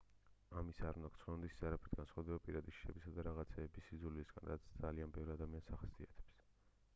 ამის არ უნდა გრცხვენოდეთ ის არაფრით განსხვავდება პირადი შიშებისა და რაღაცეების სიძულვილისგან რაც ძალიან ბევრ ადამიანს ახასიათებს